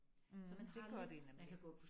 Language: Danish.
Mh det gør de nemlig